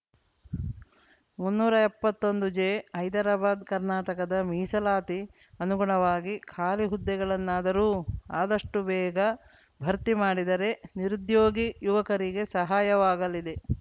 ಮುನ್ನೂರ ಎಪ್ಪತ್ತೊಂದು ಜೆ ಹೈದರಾಬಾದ್‌ ಕರ್ನಾಟಕದ ಮೀಸಲಾತಿ ಅನುಗುಣವಾಗಿ ಖಾಲಿ ಹುದ್ದೆಗಳನ್ನಾದರೂ ಆದಷ್ಟುಬೇಗ ಭರ್ತಿ ಮಾಡಿದರೆ ನಿರುದ್ಯೋಗಿ ಯುವಕರಿಗೆ ಸಹಾಯವಾಗಲಿದೆ